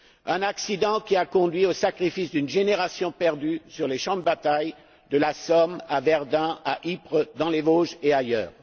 Un accident qui a conduit au sacrifice d'une génération perdue sur les champs de bataille de la Somme, à Verdun, à Ypres, dans les Vosges et ailleurs.